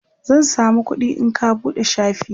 zan samu kuɗi in ka buɗe shafi na